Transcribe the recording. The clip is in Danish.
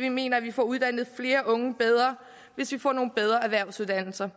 vi mener at vi får uddannet flere unge bedre hvis vi får nogle bedre erhvervsuddannelser